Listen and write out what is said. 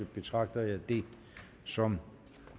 betragter jeg det som